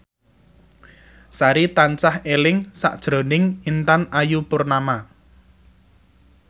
Sari tansah eling sakjroning Intan Ayu Purnama